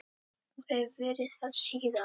Og hef verið það síðan.